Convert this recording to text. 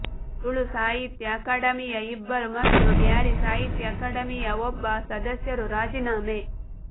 ತುಳು ಸಾಹಿತ್ಯ ಅಕಾಡೆಮಿಯ ಇಬ್ಬರು ಮತ್ತು ಬ್ಯಾರಿ ಸಾಹಿತ್ಯ ಅಕಾಡೆಮಿಯ ಒಬ್ಬ ಸದಸ್ಯರು ರಾಜೀನಾಮೆ